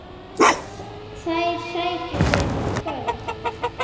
Þær sækjum við í kvöld.